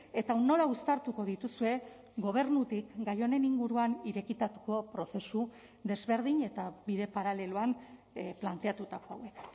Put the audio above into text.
eta nola uztartuko dituzue gobernutik gai honen inguruan irekitako prozesu desberdin eta bide paraleloan planteatutako hauek